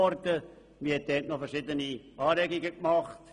Man hat verschiedene Anregungen eingebracht.